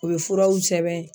U ye furaw sɛbɛn